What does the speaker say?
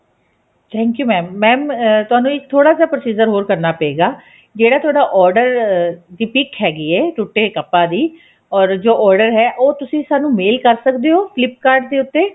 thank you mam mam ਤੁਹਾਨੂੰ ਇੱਕ ਥੋੜਾ ਜਾ procedure ਹ਼ੋਰ ਕਰਨਾ ਪਏਗਾ ਜਿਹੜਾ ਤੁਹਾਡਾ order ਦੀ PIC ਹੈਗੀ ਹੈ ਟੁੱਟੇ ਕੱਪਾਂ ਦੀ or ਜੋ order ਹੈ ਉਹ ਤੁਸੀਂ ਸਾਨੂੰ mail ਕਰ ਸਕਦੇ ਹੋ flip kart ਦੇ ਉੱਤੇ